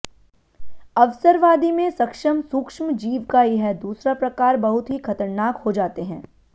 अवसरवादी में सक्षम सूक्ष्म जीव का यह दूसरा प्रकार बहुत ही खतरनाक हो जाते हैं